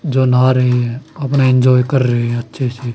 जो नहा रहे है अपना इंजॉय कर रहे हैं अच्छे से--